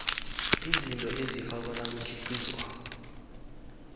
izinto ezifakwa nakukhiqizwako